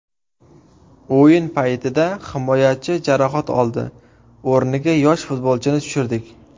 O‘yin paytida himoyachi jarohat oldi, o‘rniga yosh futbolchini tushirdik.